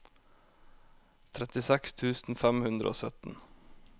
trettiseks tusen fem hundre og sytten